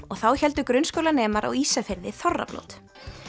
og þá héldu grunnskólanemar á Ísafirði þorrablót